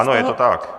Ano, je to tak.